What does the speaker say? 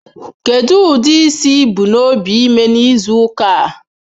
Kedu ụdị isi ị bu n'obi ịme n'izu ụka a?